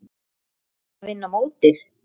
Að vinna mótið?